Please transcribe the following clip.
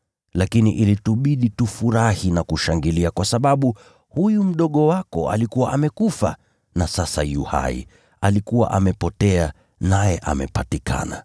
Lakini ilitubidi tufurahi na kushangilia kwa sababu huyu ndugu yako alikuwa amekufa na sasa yu hai; alikuwa amepotea naye amepatikana.’ ”